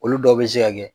Olu dɔw bɛ se ka kɛ